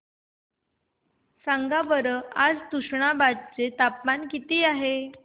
सांगा बरं आज तुष्णाबाद चे तापमान किती आहे